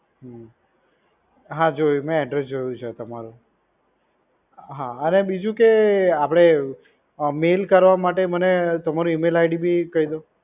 હમ હા, જોયું, મે address જોયું છે તમારું. હા, અને બીજું કે આપડે mail કરવા માટે તમારું મને email id બી કહી દો.